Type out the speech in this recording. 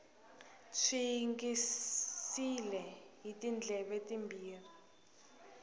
swi yingisile hi tindleve timbirhi